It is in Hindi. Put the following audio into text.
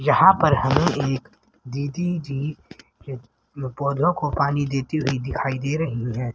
यहां पर हमें एक दीदी जी के पौधों को पानी देती हुई दिखाई दे रहीं हैं।